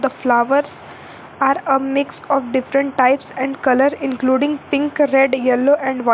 The flowers are a mix of different types and colour including pink red yellow and white.